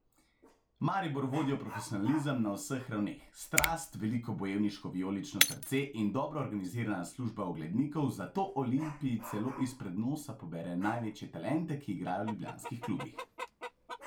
Maribor vodijo profesionalizem na vseh ravneh, strast, veliko bojevniško vijolično srce in dobro organizirana služba oglednikov, zato Olimpiji celo izpred nosa pobere največje talente, ki igrajo v ljubljanskih klubih.